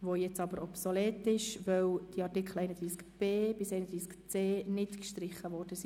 Dieser ist jetzt aber obsolet, weil die Artikel 31b und 31c nicht gestrichen worden sind.